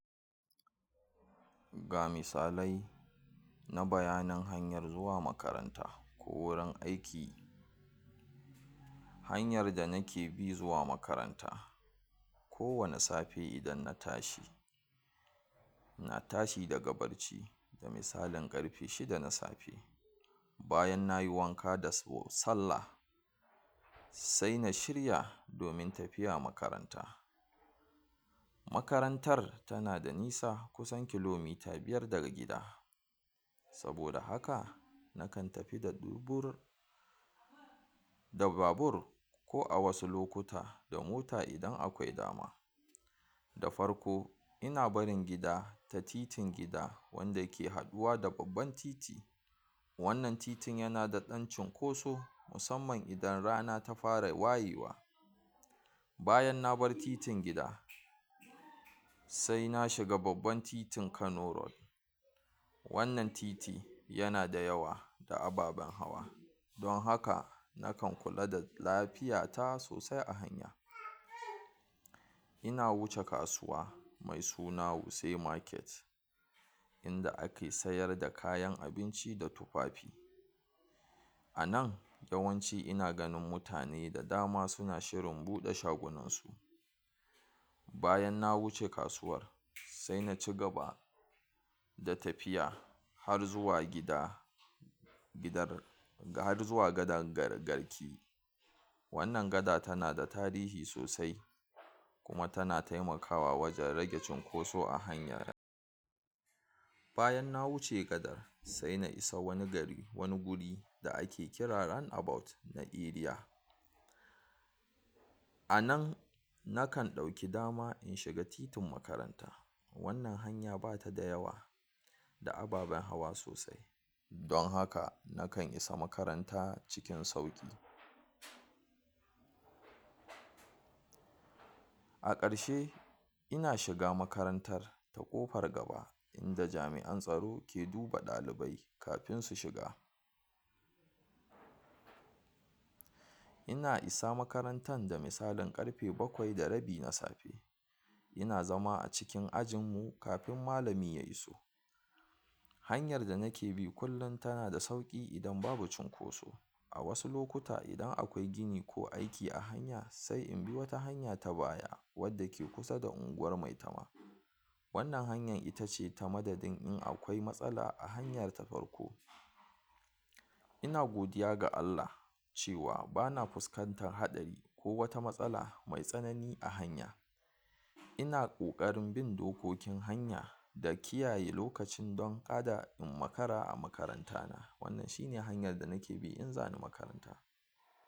Ga misalai na bayanin hanyar zuwa makaranta ko wurin aiki, hanyar da nake bi zuwa makaranta, kowane safi idan na tashi ina tashi daga barci da misalin ƙarfe shida na safe bayan nayi wanka da so sallah se na shirya domin tafiya makaranta, makarantar tana da nisa kusan kilomita biyar daga gida, saboda haka nakan tafi da dubur da babur ko a wasu lokuta da mota idan akwai dama, da farko ina barin gida ta titin gida wanda ke haɗuwa da babban titi, wannan titin yana da ɗan cinkoso, musamman idan rana ta fara wayewa, bayan nabar titin gida sai na shiga babban titin Kano road wannan titi yana da yawa da ababen hawa, don haka nakan kula da lafiyata sosai a hanya, ina wuce kasuwa mai suna wuse market, inda ake sayar da kayan abinci da tufafi, a nan yawanci ina ganin mutane da dama suna shirin buɗe shagunansu, bayan na wuce kasuwar sai na cigaba da tafiya har zuwa gida, gidar har zuwa gadar gar garki, wannan gada tana da tarihi sosai kuma tana taimakawa wajen rage cunkoso a hanya, bayan na wuce gadar sai na isa wani gari wani guri da ake kira ranabawut, na eriya, a nan na kan ɗauki dama in shiga titin makaranta wannan hanya batada yawa, da ababen hawa sosai, don haka nakan isa makaranta cikin sauƙi. A ƙarshe ina shiga makarantar ta ƙofar gaba inda jami'a tsaro ke duba ɗalibai kafin su shiga, ina isa makarantan da misalin ƙarfe bakwai da rabi na safe, ina zama a cikin ajinmmu kafin malami ya iso, hanyar da nake bi kullin tana da sauƙi idan babu cunkoso, a wasu lokuta idan akwai gini ko aiki a hanya sai inbi wata hanya ta baya wadda ke kusa da unguwar mai tama, wannan hanyar ita ce ta madadin in akwai matsala a hanyar ta farko, ina godiya ga Allah cewa bana fuskantar haɗari ko wata matsala mai tsanani a hanya, ina ƙoƙarin bin dokokin hanya da kiyaye lokacin don kada in makara a makarantana, wannan shine hanyar da nake bi in zani makaranta.